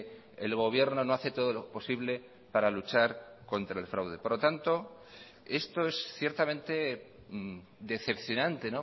el gobierno no hace todo lo posible para luchar contra el fraude por lo tanto esto es ciertamente decepcionante